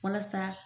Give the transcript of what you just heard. Walasa